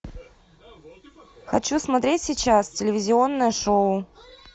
хочу смотреть сейчас телевизионное шоу